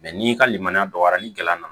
n'i ka limaniya dɔgɔyara ni gɛrɛla nana